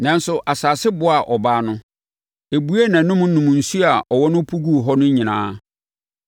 Nanso, asase boaa ɔbaa no. Ɛbuee nʼanom nom nsuo a ɔwɔ no pu guu hɔ no nyinaa.